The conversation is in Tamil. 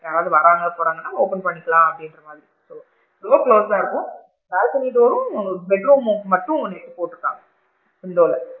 யாராவது வராங்க போறாங்கனா open பண்ணிக்கலாம் door close சா இருக்கும் balcony door ரும் bed room க்கு மட்டும் net போட்டு இருக்காங்க window ல,